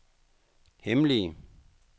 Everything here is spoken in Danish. hemmelige